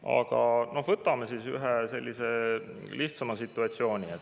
Aga võtame ühe sellise lihtsama situatsiooni.